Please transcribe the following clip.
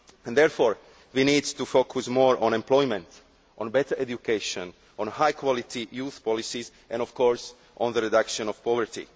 Therefore, we need to focus more on employment, on better education, on high quality youth policies and, of course, on the reduction of poverty.